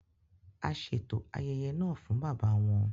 A ṣeto ayẹyẹ náà fún bàbá wọn